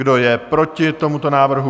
Kdo je proti tomuto návrhu?